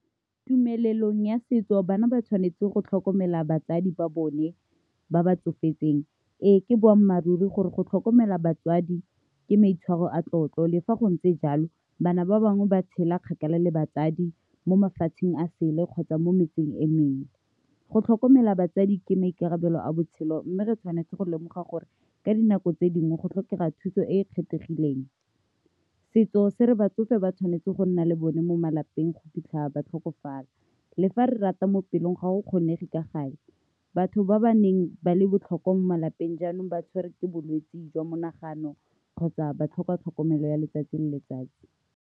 Tumelelong ya setso, bana ba tshwanetse go tlhokomela batsadi ba bone ba ba tsofetseng. Ee, ke boammaaruri gore go tlhokomela batswadi ke maitshwaro a tlotlo, le fa go ntse jalo, bana ba bangwe ba tshela kgakala le batsadi mo mafatsheng a sele kgotsa mo metseng e mengwe. Go tlhokomela batsadi ke maikarabelo a botshelo mme re tshwanetse go lemoga gore ka dinako tse dingwe go tlhokega thuso e e kgethegileng. Setso se re batsofe ba tshwanetse go nna le bone mo malapeng go fitlha tlhokofala le fa re rata mo pelong ga go kgonege ka gale, batho ba ba neng ba le botlhokwa mo malapeng jaanong ba tshwere ke bolwetse jwa monaganong kgotsa ba tlhoka tlhokomelo ya letsatsi le letsatsi.